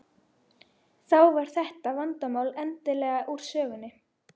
Þá var þetta vandamál endanlega úr sögunni.